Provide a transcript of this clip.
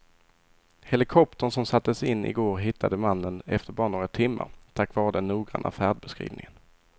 Helikoptern som sattes in i går hittade mannen efter bara några timmar tack vare den noggranna färdbeskrivningen.